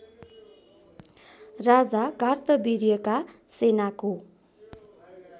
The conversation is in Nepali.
राजा कार्तविर्यका सेनाको